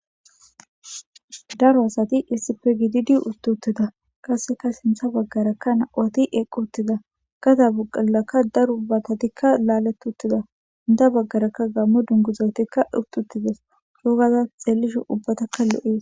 Daro asati issipfe gidi di ustutida kaseka sintha baggarakka nawati eqqo ttida gada bugalakka daro ubbatatikka laaletuttida unda baggarakka gammo dunguzotikka hututtides soogaza xeellishu ubbatakka lo'ies.